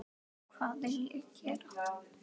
Það dugði í tíu slagi.